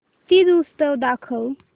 तीज उत्सव दाखव